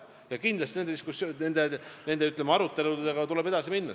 Kindlasti tuleb nende aruteludega edasi minna.